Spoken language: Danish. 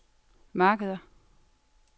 markeder